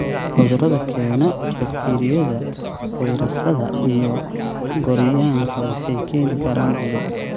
Cudurada keena: Bakteeriyada, fayrasyada, iyo gooryaanka waxay keeni karaan cudur.